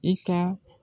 I ka